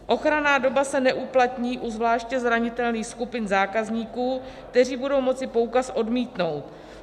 Ochranná doba se neuplatní u zvláště zranitelných skupin zákazníků, kteří budou moci poukaz odmítnout.